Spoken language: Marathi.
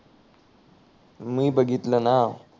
मी बघितल ना